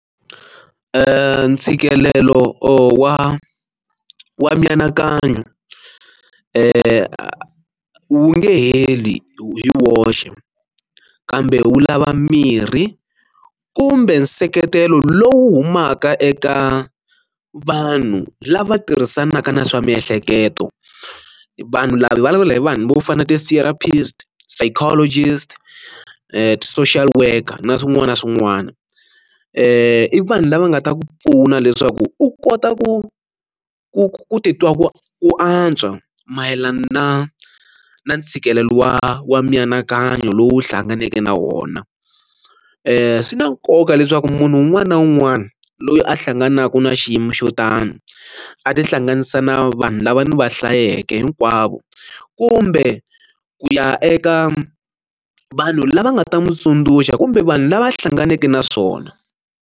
ntshikelelo wa wa mianakanyo wu wu nge tlheli hi woxe kambe wu lava mirhi kumbe nseketelo lowu humaka eka vanhu lava tirhisanaka na swa miehleketo vanhu lava hi vulavula hi vanhu vo fana na ti therapist, psychologist, social worker na swin'wana na swin'wana i vanhu lava nga ta ku pfuna leswaku u kota ku ku ku titwa ku ku antswa mayelana na na ntshikelelo wa wa mianakanyo lowu hlanganeke na wona swi na nkoka leswaku munhu un'wana na un'wana loyi a hlanganaka na xiyimo xo tani a tihlanganisa na vanhu lava ni va hlayeke hinkwavo kumbe ku ya eka vanhu lava nga ta n'wi tsundzuxa kumbe vanhu lava a hlanganeke na swona.